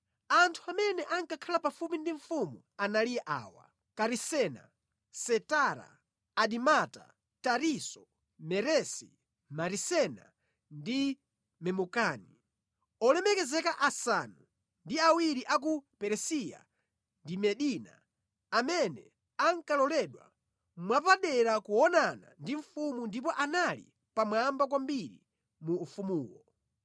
Anthu amene ankakhala pafupi ndi mfumu anali awa: Karisena, Setara, Adimata, Tarisisi, Meresi, Marisena ndi Memukani, olemekezeka asanu ndi awiri a ku Peresiya ndi Medina amene ankaloledwa mwapadera kuonana ndi mfumu ndipo anali pamwamba kwambiri mu ufumuwo.